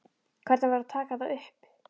Hvernig væri að taka það upp?